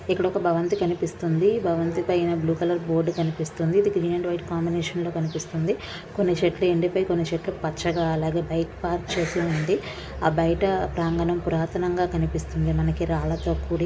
ఇక్కడ ఒక భవంతి కనిపిస్తుంది. భవంతి పైన బ్లూ కలర్ బోర్డు కనిపిస్తుంది. ఇది గ్రీన్ అండ్ వైట్ కాంబినేషన్ లో కనిపిస్తుంది. కొన్ని చెట్లు ఎండిపోయి కొన్ని చెట్లు పచ్చగా అలాగే బైక్ పార్కు చేసి ఉంది. ఆ బయట ప్రాంగణం పురాతనంగా కనిపిస్తుంది మనకి రాళ్లతో కూడి.